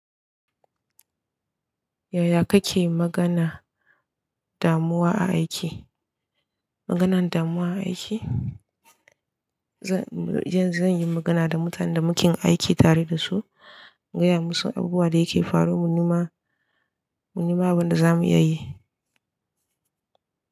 Yaya kake magana damuwa a aiki? Maganan damuwa a aiki? Zan, yanzu zan yi magana da mutanen da muke aiki tare da su, gaya musu abubuwan da ya ke faru mu ni ma, mu nema abin da za mu iya yi.